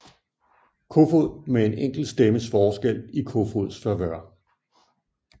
Kofoed med en enkelt stemmes forskel i Kofoeds favør